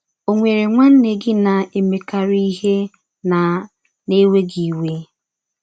Ọ̀ nwere nwanne gị na - emekarị ihe na - na - ewe gị iwe?